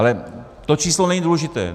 Ale to číslo není důležité.